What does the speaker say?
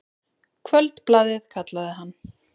Kvöldblaðið, kallaði hann.